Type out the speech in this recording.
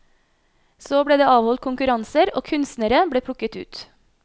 Så ble det avholdt konkurranser og kunstnere ble plukket ut.